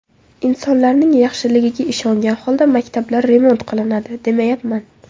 Insonlarning yaxshiligiga ishongan holda maktablar remont qilinadi, demayapman.